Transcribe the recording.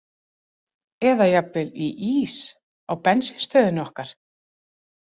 Eða jafnvel í ís á bensínstöðinni okkar?